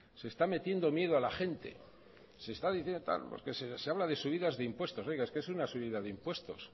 se está metiendo miedo a la gente se está diciendo tal se habla de subidas de impuestos oiga es que es una subida de impuestos